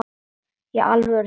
Í alvöru talað?